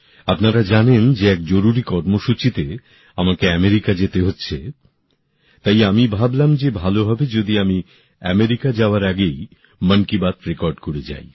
আপনারা জানেন যে এক জরুরী কর্মসূচীতে আমাকে আমেরিকা যেতে হচ্ছে তাই আমি ভাবলাম যে ভালো হবে যদি আমি আমেরিকা যাওয়ার আগেই মন কি বাত রেকর্ড করে যাই